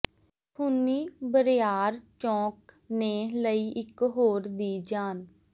ਖ਼ੂਨੀ ਬਰਿਆਰ ਚੌਕ ਨੇ ਲਈ ਇਕ ਹੋਰ ਦੀ ਜਾਨ